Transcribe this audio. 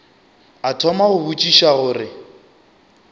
a thoma go botšiša gore